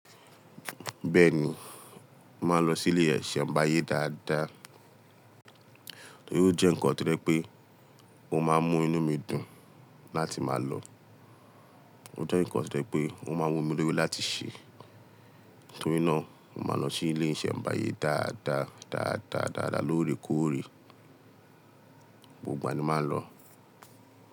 Bẹ́ẹ̀ni, màá lọ sí ilé isẹmbàyé dáadáa. Torí ó jẹ́ ǹkan tó jẹ pé o máa ń mú inú mi dùn láti máa lọ. Ó jẹ́ ǹkan tó jẹ pé o máa ń wu mí lórí láti ṣe. Nítorínà, mo máa n lọ sí ilé iṣembàyé dáadáa, dáadáa, dáadáa lóòrèkóòrè. Gbogbo ìgbà ni màá ń lò.